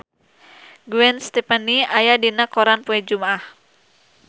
Gwen Stefani aya dina koran poe Jumaah